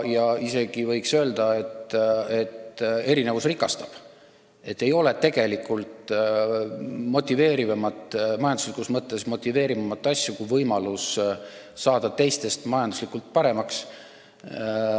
Ja isegi võis öelda, et erinevus rikastab, et ei ole tegelikult majanduslikus mõttes motiveerivamat eesmärki kui võimalus saada teistest majanduslikult paremaks.